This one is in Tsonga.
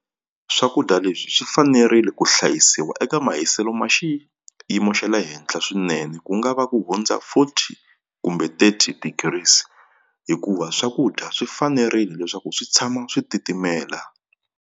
Swakudya leswi swi fanerile ku hlayisiwa eka mahiselo ma xiyimo xa le henhla swinene ku nga va ku hundza forty kumbe thirty degrees hikuva swakudya swi fanerile leswaku swi tshama swi titimela.